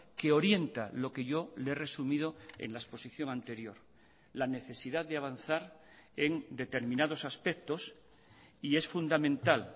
que orienta lo que yo le he resumido en la exposición anterior la necesidad de avanzar en determinados aspectos y es fundamental